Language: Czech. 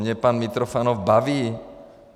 Mě pan Mitrofanov baví.